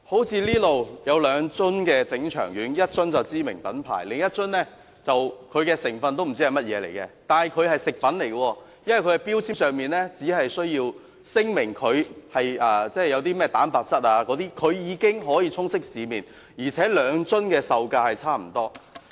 這裏有兩樽整腸丸，一樽是知名品牌，另一樽連成分是甚麼都不知道，但它是食品，因為其標籤上只需要聲明有甚麼蛋白質等，便已經可以充斥市面，而且兩樽的售價差不多。